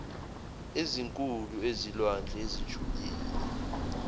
ezinkulu ezilwandle ezijulile